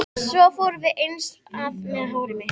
Svo fórum við eins að með hár mitt.